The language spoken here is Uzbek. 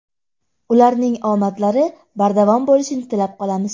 Ularning omadlari bardavom bo‘lishini tilab qolamiz.